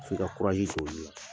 F'i ka sɔrɔ olu la.